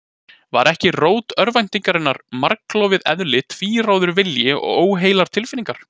Var ekki rót örvæntingarinnar margklofið eðli, tvíráður vilji og óheilar tilfinningar?